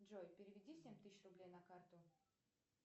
джой переведи семь тысяч рублей на карту